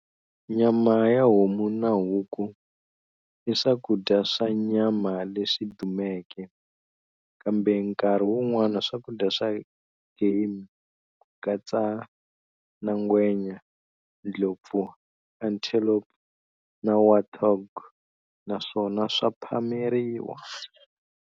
Nyama ya homu na huku i swakudya swa nyama leswi dumeke, kambe nkarhi wun'wana swakudya swa game kukatsa na ngwenya, ndlopfu, antelope na warthog na swona swa phameriwa.